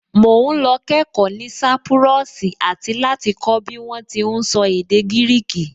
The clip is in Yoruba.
Mò ún lọ kẹ́ẹ̀kọ́ ní sápúrọ́ọ̀sì àti láti kọ́ bí wọ́n ti ún sọ èdè gírìkì